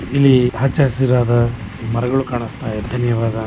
ಇಲ್ಲಿ ಹಚ್ಚ ಹಸಿರಾದ ಮರಗಳು ಕಾಣಿಸ್ತಾಯಿದೆ ಧನ್ಯವಾದ .